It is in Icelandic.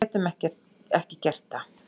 Við getum ekki gert það